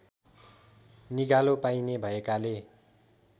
निगालो पाइने भएकाले